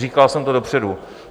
Říkal jsem to dopředu.